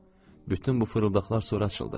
Bütün bu fırıldaqlar sonra açıldı.